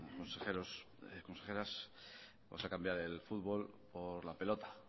consejeros consejeras vamos a cambiar el fútbol por la pelota